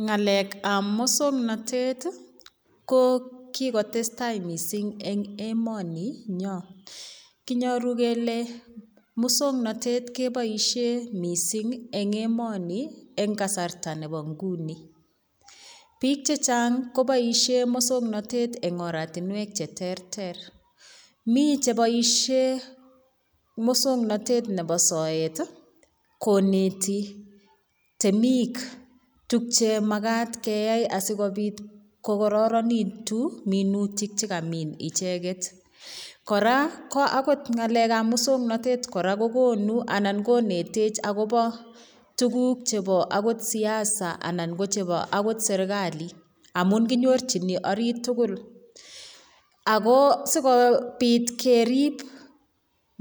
Ng'alekab muswong'notet ko kikotestai mising'eng' emoni nyoo kinyoru kele muswong'notet keboishe mising' eng' emoni eng' kasarta nebo nguni biik chechang' koboishe moswong'notet eng' oratinwek cheterter mi cheboishe moswong'notet nebo soet koneti temik tukche makat keyai asikobit kokororonitu minutik chekamin icheget kora ko akot ng'alekab muswong'notet kora kokonu anan konetech akobo tukuk chebo akot siasa anan ko chebo akot serikali amun kinyorchini orit tugul ako sikobit kerip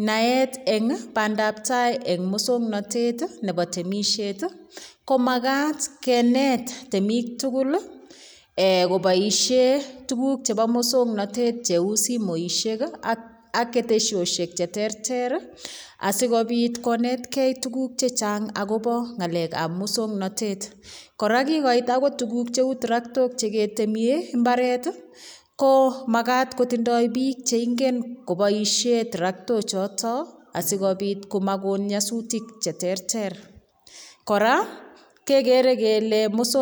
naet eng' bandaptai eng' muswong'notet nebo temishet ko makat kenet temik tugul koboishe tukuk chebo muswong'notet cheu simoishek ak keteshioshek cheterter asikobit konetkei tukuk chechang' akobo ng'alekab muswong'notet kora kikoit akot tukuk cheu traktok cheketeme mbaret ko makat kotindoi biik cheingen koboishe trakto choto asikobit komakon nyosutik cheterter kora kekere kele muswong'notet